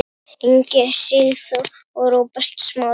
Ingi Sigþór og Róbert Smári.